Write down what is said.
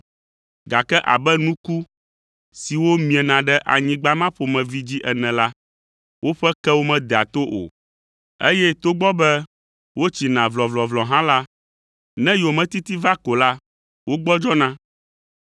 gake abe nuku siwo miena ɖe anyigba ma ƒomevi dzi ene la, woƒe kewo medea to o, eye togbɔ be wotsina vlɔvlɔvlɔ hã la, ne yometiti va ko la, wogbɔdzɔna.